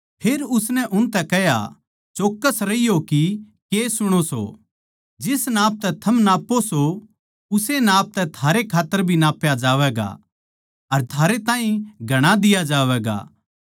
फेर उसनै उनतै कह्या चौक्कस रहियो कि के सुणो सो जिस नाप तै थम नाप्पो सों उस्से नाप तै थारै खात्तर भी नाप्या जावैगा और थारै ताहीं घणा दिया जावैगा